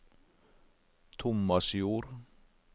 Tomasjord